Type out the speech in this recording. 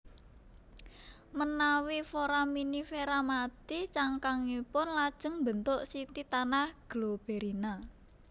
Menawi foraminifera mati cangkangipun lajeng mbentuk siti tanah globerina